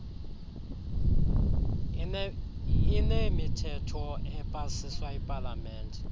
linemithetho epasiswa yipalamente